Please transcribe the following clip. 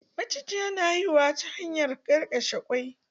Macijiya na haihuwa ta hanyar ƙenƙeshe kwai.